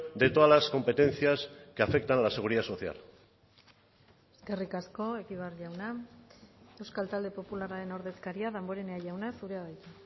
de todas las competencias que afectan a la seguridad social eskerrik asko egibar jauna euskal talde popularraren ordezkaria damborenea jauna zurea da hitza